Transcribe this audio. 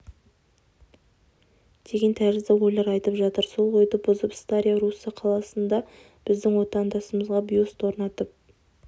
деген тәрізді ойлар айтып жатыр сол ойды бұзып старая русса қаласында біздің отандасымызға бюст орнатып